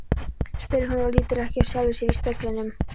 spyr hún og lítur ekki af sjálfri sér í speglinum.